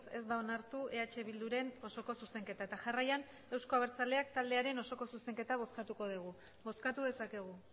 ez da onartu eh bilduren osoko zuzenketa eta jarraian euzko abertzaleak taldearen osoko zuzenketa bozkatuko dugu bozkatu dezakegu